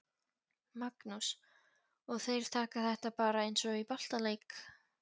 Magnús: Og þeir taka þetta bara eins og í boltaleik?